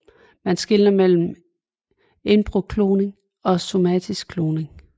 Man skelner mellem embryokloning og somatisk kloning